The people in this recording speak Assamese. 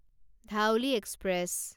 ধাউলি এক্সপ্ৰেছ